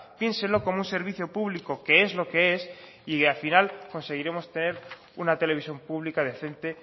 piénsenlo como un servicio público que es lo que es y al final conseguiremos tener una televisión pública decente